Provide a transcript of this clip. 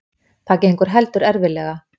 Það gengur heldur erfiðlega.